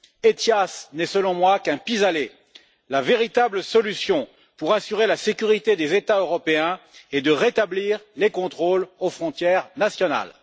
ETIAS n'est selon moi qu'un pis aller. La véritable solution pour assurer la sécurité des États européens est de rétablir les contrôles aux frontières nationales.